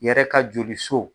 Yɛrɛ ka joli so.